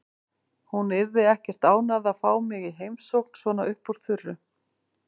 Hún yrði ekkert ánægð að fá mig í heimsókn svona upp úr þurru.